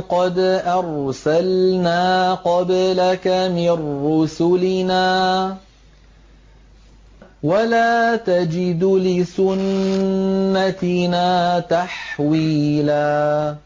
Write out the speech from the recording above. قَدْ أَرْسَلْنَا قَبْلَكَ مِن رُّسُلِنَا ۖ وَلَا تَجِدُ لِسُنَّتِنَا تَحْوِيلًا